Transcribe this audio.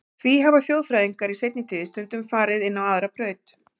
Því hafa þjóðfræðingar í seinni tíð stundum farið inn á aðra braut.